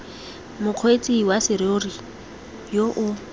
mokgweetsi wa serori yo o